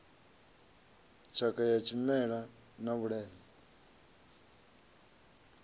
tshakha ya tshimela na vhuleme